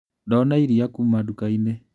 Ndona iria kuma ndukainĩ.